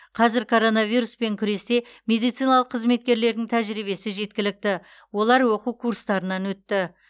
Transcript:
қазір коронавируспен күресте медициналық қызметкерлердің тәжірибесі жеткілікті олар оқу курстарынан өтті